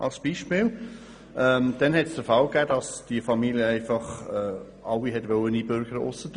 Dann wollte die Familie alle Mitglieder mit Ausnahme der Frau einbürgern lassen.